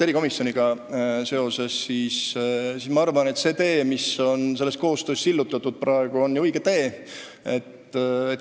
Erikomisjoniga seoses ma arvan, et see tee, mis on praegu selle koostöö nimel sillutatud, on ju õige tee.